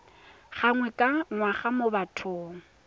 gangwe ka ngwaga mo bathong